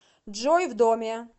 джой в доме